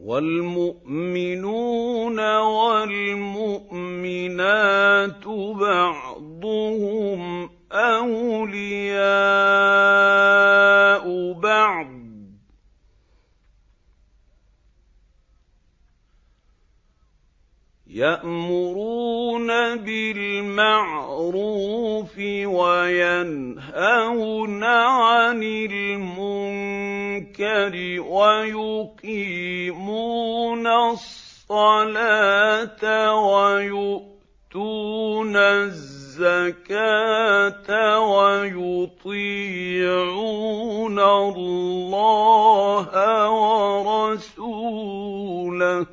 وَالْمُؤْمِنُونَ وَالْمُؤْمِنَاتُ بَعْضُهُمْ أَوْلِيَاءُ بَعْضٍ ۚ يَأْمُرُونَ بِالْمَعْرُوفِ وَيَنْهَوْنَ عَنِ الْمُنكَرِ وَيُقِيمُونَ الصَّلَاةَ وَيُؤْتُونَ الزَّكَاةَ وَيُطِيعُونَ اللَّهَ وَرَسُولَهُ ۚ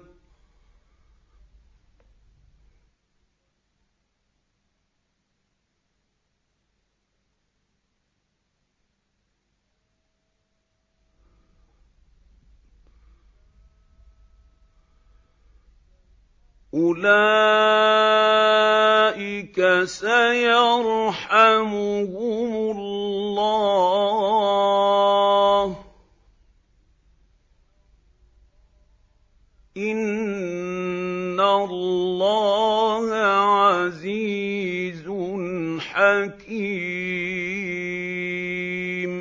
أُولَٰئِكَ سَيَرْحَمُهُمُ اللَّهُ ۗ إِنَّ اللَّهَ عَزِيزٌ حَكِيمٌ